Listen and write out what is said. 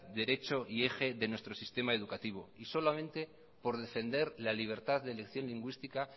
derecho y eje de nuestro sistema educativo y solamente por defender la libertad de elección lingüística